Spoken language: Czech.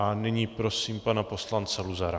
A nyní prosím pana poslance Luzara.